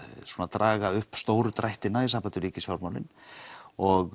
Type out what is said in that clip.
draga upp stóru drættina í sambandi við ríkisfjármálin og